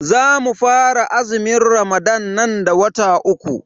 Zamu fara azumin ramadan nan da wata uku.